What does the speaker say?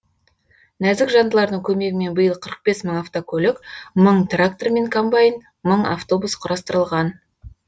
нәзік жандылардың көмегімен биыл қырық бес мың автокөлік мың трактор мен комбайн мың автобус құрастырылған